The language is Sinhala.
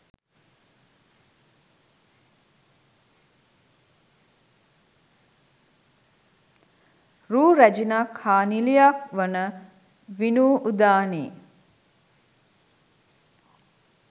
රූ රැජිනක් හා නිළියක් වන විනූ උදානි